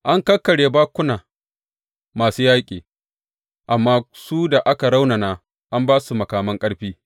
An kakkarya bakkuna masu yaƙi, amma su da ka raunana an ba su makaman ƙarfi.